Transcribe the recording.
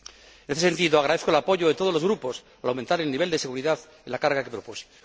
En este sentido, agradezco el apoyo de todos los grupos al aumentar el nivel de seguridad en la carga que propuse.